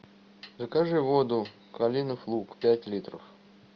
закажи воду калинов луг пять литров